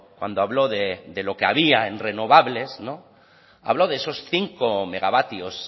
cuando habló de lo que había en renovables no habló de esos cinco megavatios